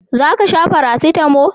za ka sha farasitamo?